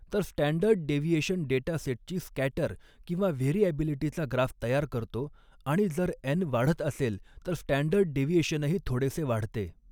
तर standard deviation डेटासेटची scatter किंवा व्हेरीऍबिलिटीचा ग्राफ तयार करतो आणि जर एन वाढत असेल तर स्टॅंडर्ड डेव्हिएशनही थोडेसे वाढते.